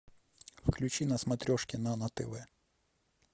включи на смотрешке нано тв